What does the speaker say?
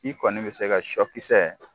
I kɔni bɛ se ka sɔ kisɛ